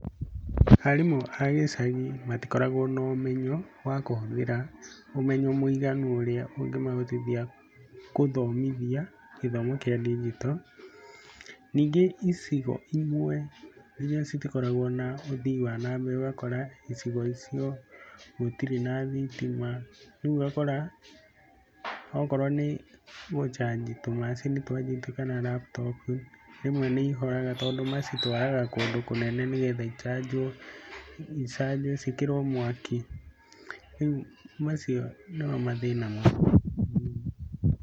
Arimũ a gĩcagi matikoragwo na ũmenyo wa kũhũthĩra, ũmenyo mũiganu ũrĩa ũngĩmahotithia gũthomithia gĩthomo kĩa ndigito, ningĩ icigo imwe nginya citikoragwo na ũthii wa na mbere, ũgakora icigo icio gũtirĩ na thitima, rĩu ũgakora okorwo nĩ gũcanji tũmacini twa - kana laptop rĩmwe nĩ ihoraga tondũ macitwaraga kũndũ kũnene nĩ getha icanjwo, icanjwo ciĩkĩrwo mwaki, rĩu macio nĩmo mathĩna -